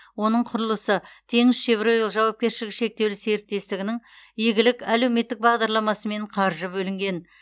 оның құрылысы теңізшевройл жауапкершілігі шектеулі серіктестігінің игілік әлеуметтік бағдарламасымен қаржы бөлінген